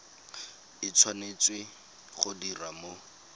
e tshwanetse go diriwa mo